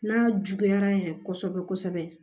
N'a juguyara yɛrɛ kosɛbɛ kosɛbɛ